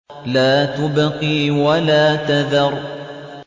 لَا تُبْقِي وَلَا تَذَرُ